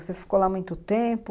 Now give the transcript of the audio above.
Você ficou lá muito tempo?